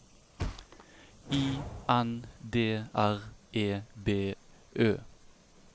I N D R E B Ø